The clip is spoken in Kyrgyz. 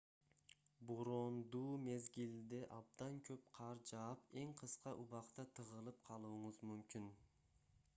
бороондуу мезгилде абдан көп кар жаап эң кыска убакта тыгылып калууңуз мүмкүн